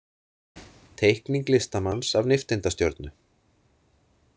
Teikning listamanns af nifteindastjörnu.